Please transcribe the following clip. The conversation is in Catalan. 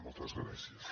moltes gràcies